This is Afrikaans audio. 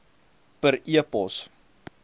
per e pos